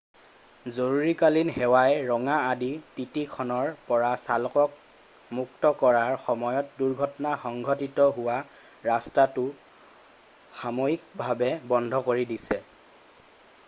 জৰুৰীকালীন সেৱাই ৰঙা অডি ttখনৰ পৰা চালকক মুক্ত কৰাৰ সময়ত দুৰ্ঘটনা সংঘটিত হোৱা ৰাস্তাটো সাময়িকভাৱে বন্ধ কৰি দিছে।